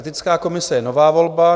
Etická komise je nová volba.